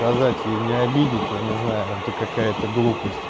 сказать ей не обидеть я не знаю это какая-то глупость